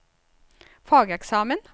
fageksamen